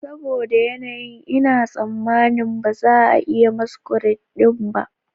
Saboda yanayin, Ina tsammanin ba za a yi maskuradin ba